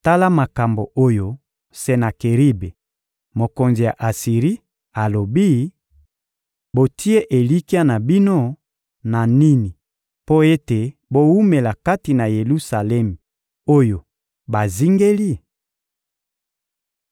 «Tala makambo oyo Senakeribe, mokonzi ya Asiri, alobi: Botie elikya na bino na nini mpo ete bowumela kati na Yelusalemi oyo bazingeli?